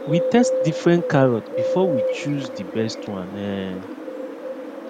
we test different carrot before we chose the best one um